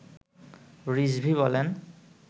রিজভী বলেন